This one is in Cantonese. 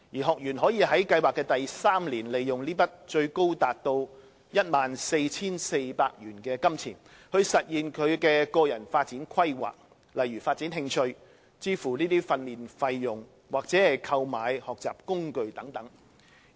學員可以在計劃的第三年利用這筆最高達 14,400 元的金錢，實現他的個人發展規劃，例如發展興趣、支付訓練費用或購買學習工具。